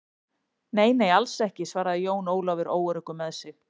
Nei, nei, alls ekki, svaraði Jón Ólafur óöruggur með sig.